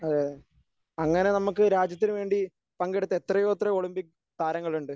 അതെ അങ്ങനെ നമ്മക്ക് രാജ്യത്തിനുവേണ്ടി പങ്കെടുത്ത എത്രയോ എത്രയോ ഒളിമ്പിക്സ് താരങ്ങളുണ്ട്.